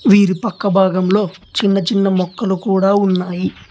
వీరి పక్క భాగంలో చిన్న చిన్న మొక్కలు కూడా ఉన్నాయి.